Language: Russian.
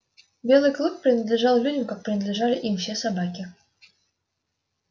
белый клык принадлежал людям как принадлежали им все собаки